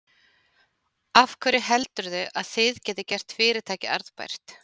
Af hverju heldurðu að þið getið gert fyrirtækið arðbært?